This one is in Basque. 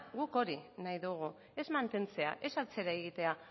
guk hori nahi dugu ez mantentzea ez atzera egitea